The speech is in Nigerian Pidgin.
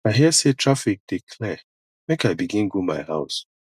i hear sey traffic dey clear make i begin go my house